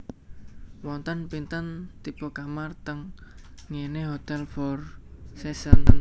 Wonten pinten tipe kamar teng nggene Hotel Four Seasons?